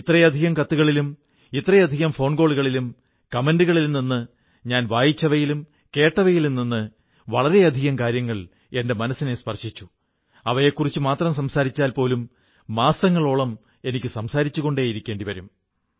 ഇത്രയധികം കത്തുകളിലും ഇത്രയധികം ഫോൺ കോളുകളിലും അഭിപ്രായങ്ങളിലും നിന്ന് ഞാൻ വായിച്ചവയിലും കേട്ടവയിലും നിന്ന് വളരെയധികം കാര്യങ്ങൾ എന്റെ മനസ്സിനെ സ്പർശിച്ചു അവയെക്കുറിച്ചു മാത്രം സംസാരിച്ചാൽ പോലും മാസങ്ങളോളം എനിക്ക് സംസാരിച്ചുകൊണ്ടിരിക്കേണ്ടി വരും